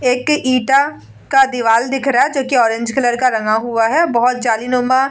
एक ईटा का दीवाल दिख रहा है जो की ऑरेंज कलर का रंगा हुआ है बहुत जालीनुमा ---